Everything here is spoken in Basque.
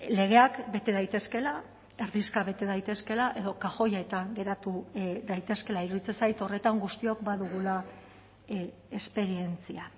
legeak bete daitezkeela erdizka bete daitezkeela edo kajoietan geratu daitezkeela iruditzen zait horretan guztiok badugula esperientzia